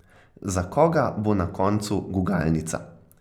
Za koga bo na koncu gugalnica?